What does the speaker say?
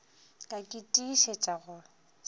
ka ke tiišetša go se